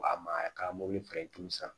Wa mayka mobili san